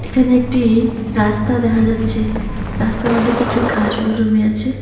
এখানে একটি রাস্তা দেখা যাচ্ছে রাস্তার মধ্যে কিছু ঘাসও জমে আছে।